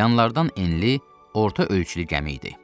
yanlardan enli, orta ölçülü gəmi idi.